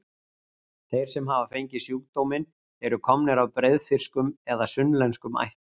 Þeir sem hafa fengið sjúkdóminn eru komnir af breiðfirskum eða sunnlenskum ættum.